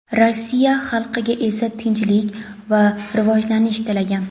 Rossiya xalqiga esa tinchlik va rivojlanish tilagan.